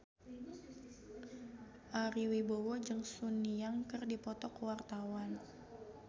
Ari Wibowo jeung Sun Yang keur dipoto ku wartawan